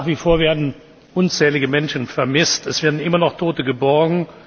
Nach wie vor werden unzählige Menschen vermisst. Es werden immer noch Tote geborgen.